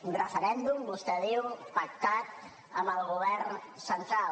un referèndum vostè diu pactat amb el govern central